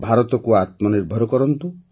ଭାରତକୁ ଆତ୍ମନିର୍ଭର କରନ୍ତୁ